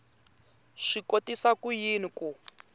swi kotisa ku yini ku